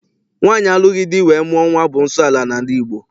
Nwaanyị alụghị di wee mụọ nwa bụ nsọala n'ala Igbo.